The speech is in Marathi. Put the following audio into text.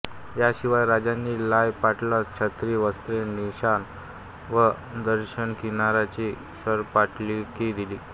याशिवाय राजांनी लाय पाटलास छत्री वस्त्रे निशाण व दर्याकिनारीची सरपाटीलकी दिली